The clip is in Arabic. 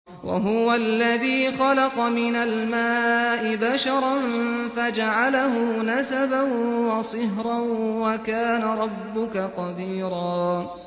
وَهُوَ الَّذِي خَلَقَ مِنَ الْمَاءِ بَشَرًا فَجَعَلَهُ نَسَبًا وَصِهْرًا ۗ وَكَانَ رَبُّكَ قَدِيرًا